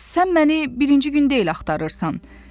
sən məni birinci gün deyil axtarırsan.